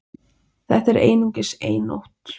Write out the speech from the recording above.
Þetta er einungis ein nótt